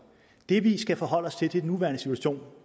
det vi skal forholde os til er den nuværende situation